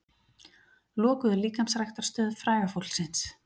Lokuðu líkamsræktarstöð fræga fólksins